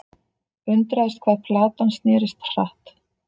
Undraðist hvað platan snerist hratt.